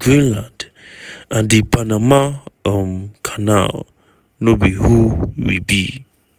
greenland and di panama um canal "no be who we be".